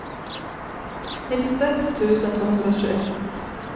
nittiosex tusen tvåhundratjugoett